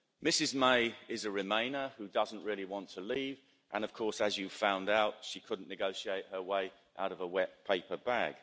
Mrs May is a remainer who doesn't really want to leave and, of course, as you found out, she couldn't negotiate her way out of a wet paper bag.